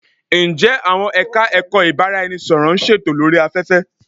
Ǹjẹ àwọn Ẹ̀ka-ẹ̀kọ́ ìbárá-ẹni-sọ̀rọ̀ ń ṣètò lórí afẹ́fẹ́?